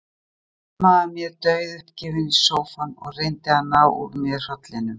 Ég hlammaði mér dauðuppgefin í sófann og reyndi að ná úr mér hrollinum.